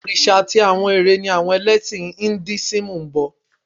Òrìṣà àti àwọn eré ni àwọn ẹlẹ́sìn Induísímù ń bọ